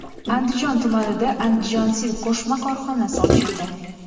Andijon tumanida Andijan Silk.Co qo‘shma korxonasi ochildi.